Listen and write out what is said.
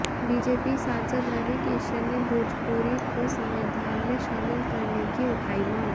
BJP सांसद रवि किशन ने भोजपुरी को संविधान में शामिल करने की उठाई मांग